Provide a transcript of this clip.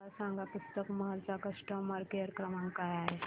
मला सांगा पुस्तक महल चा कस्टमर केअर क्रमांक काय आहे